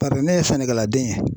Bari ne ye sɛnɛkɛladen ye